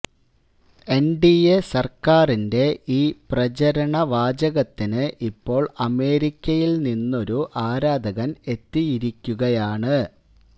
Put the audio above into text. N D A സർക്കാരിന്റെ ഈ പ്രചാരണ വാചകത്തിന് ഇപ്പോൾ അമേരിക്കയിൽ നിന്നൊരു ആരാധകൻ എത്തിയിരിക്കുകയാണ്